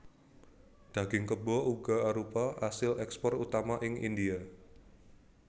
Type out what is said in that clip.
Daging kebo uga arupa asil èkspor utama ing India